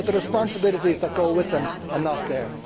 but the responsibilities that go with them are not there.